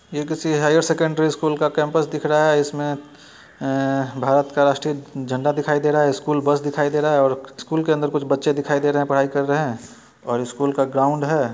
यह किसी high secondary school का कैंपस दिख रहा है इसमें आ-भारत का राष्ट्रीय झंडा दिखाई दे रहा है स्कूल बस दिखाई दे रहा है और स्कूल के अंदर कुछ बच्चे दिखाई दे रहे हैं पढ़ाई कर रहे हैं और स्कूल का ग्राउंड है।